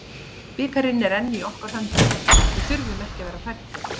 Bikarinn er enn í okkar höndum, við þurfum ekki að vera hræddir.